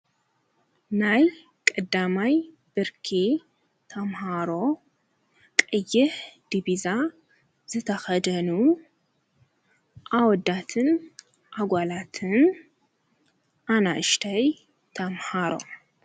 ናይ ቐዳማይ ብርኪ ተምሃሮ ቀይህ ዲቢዛ ዘተኸደኑ ኣወዳትን ኣጓላትን ኣናእሽተይ ተምሃሮ